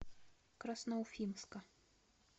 красноуфимска